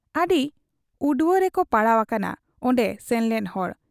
ᱟᱹᱰᱤ ᱩᱲᱣᱟᱹ ᱨᱮᱠᱚ ᱯᱟᱲᱟᱣ ᱟᱠᱟᱱᱟ ᱚᱱᱰᱮ ᱥᱮᱱᱞᱮᱱ ᱦᱚᱲ ᱾